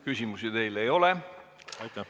Küsimusi teile ei ole.